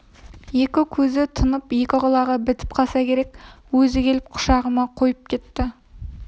екі көзі тұнып екі құлағы бітіп қалса керек өзі келіп құшағыма қойып кетті